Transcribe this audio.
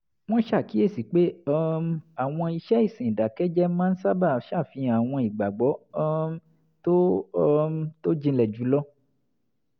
wọ́n ṣàkíyèsi pé um àwọn iṣẹ́ ìsìn ìdàkẹ́jẹ́ máa ń sábà ṣàfihàn àwọn ìgbàgbọ́ um tó um tó jinlẹ̀ jù lọ